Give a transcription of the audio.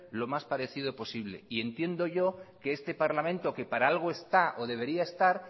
lo más parecido posible y entiendo yo que este parlamento que para algo está o debería estar